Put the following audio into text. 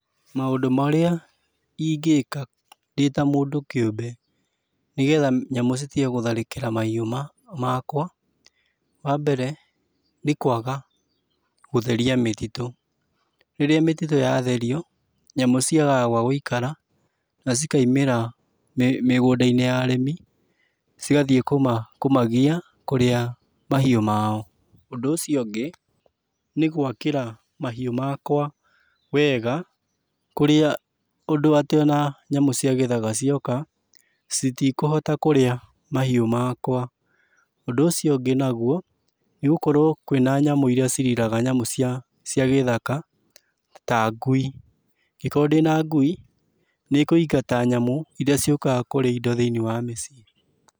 Maũndũ marĩa ingĩka ndĩta mũndũ kĩũmbe nĩgetha nyamũ citige gũtharĩkĩra mahĩu makwa, wa mbere nĩ kwaga gũtheria mĩtitũ. Rĩrĩa mĩtitũ yatherio nyamũ ciagaga gwagũikara na cikaimĩra mĩgũnda-inĩ ya arĩmi, igathiĩ kũmagia kũrĩa mahiũ ma o. Ũndũ ũcio ũngĩ nĩ gwakĩra mahiũ makwa wega kũrĩa ũndũ atĩ o na nyamũ cia gĩthaka cioka citikũhota kũrĩa mahiũ makwa. Ũndũ ũcio ũngĩ naguo nĩ gũkorwo kwĩ na nyamũ irĩa ciriraga nyamũ cia gĩthaka ta ngui. Angĩkorwo ndĩna ngui nĩikũingata nyamũ irĩa ciũkaga kũrĩa indo thĩiniĩ wa mĩciĩ.